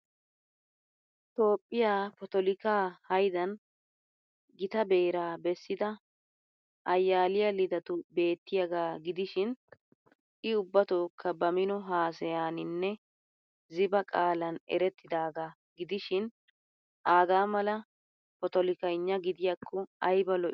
Toophphiya potilikkaa haydan gita beraa bessida Ayaliya Lidatu beettiyagaa gidishiin I ubbatookka ba mino haasayaaninne ziba qaalan erettidaagaa gidishshiin aaga mala potolikkagna gidiyakko ayba lo'ii.